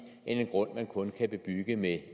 end en grund man kun kan bebygge med